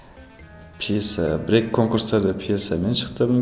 пьеса бір екі конкурстарда пьесамен шықтым